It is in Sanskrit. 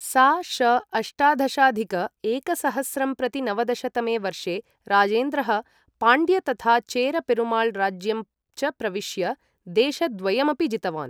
सा.श. अष्टादशाधिक एकसहस्रंप्रतिनवदश तमे वर्षे राजेन्द्रः पाण्ड्य तथा चेर पेरुमाळ् राज्यं च प्रविश्य देशद्वयमपि जितवान्।